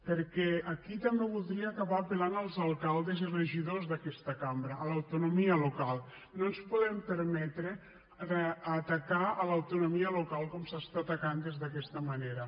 perquè aquí també voldria acabar apel·lant als alcaldes i regidors d’aquesta cambra a l’autonomia local no ens podem permetre atacar l’autonomia local com se l’està atacant d’aquesta manera